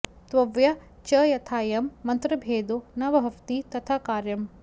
त्वया च यथायं मन्त्रभेदो न भवति तथा कार्यम्